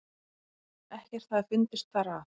Ekkert hafi fundist þar að